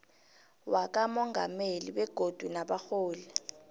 wakamongameli begodu nabarholi